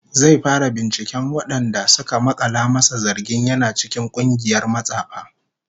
Zai fara binciken wadanda suka makala masa zargin yana cikin kungiyar matsafa